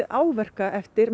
áverka eftir